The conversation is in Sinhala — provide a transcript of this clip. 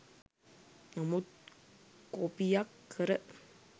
නමුත් කොපියක් කර